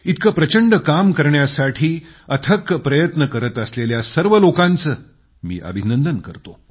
इतकं प्रचंड काम करण्यासाठी अथक प्रयत्न करीत असलेल्या सर्व लोकांचे मी अभिनंदन करतो